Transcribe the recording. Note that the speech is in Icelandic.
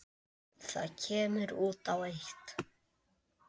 Það kemur út á eitt.